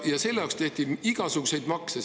Ja selle jaoks kehtestati igasuguseid makse.